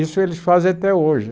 Isso eles fazem até hoje.